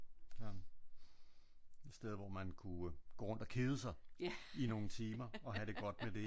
Ja et sted hvor man kunne gå rundt og kede sig i nogle timer og have det godt med det ik? Så